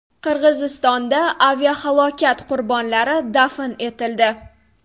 Qirg‘izistonda aviahalokat qurbonlari dafn etildi.